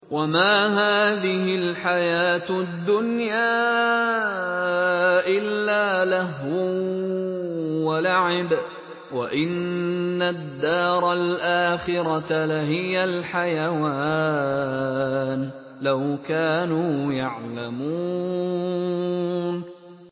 وَمَا هَٰذِهِ الْحَيَاةُ الدُّنْيَا إِلَّا لَهْوٌ وَلَعِبٌ ۚ وَإِنَّ الدَّارَ الْآخِرَةَ لَهِيَ الْحَيَوَانُ ۚ لَوْ كَانُوا يَعْلَمُونَ